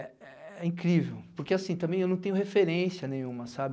É é incrível, porque assim, também eu não tenho referência nenhuma, sabe?